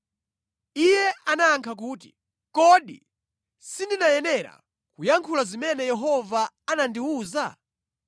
Iye anayankha kuti, “Kodi sindinayenera kuyankhula zimene Yehova anandiwuza?”